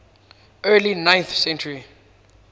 early ninth century